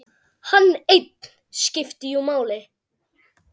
Hann einn skipti jú máli.